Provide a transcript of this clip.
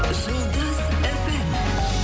жұлдыз фм